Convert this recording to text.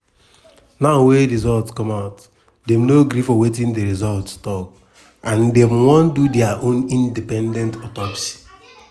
now wey result come out dem no gree for wetin di result tok and dem wan do dia own independent autopsy.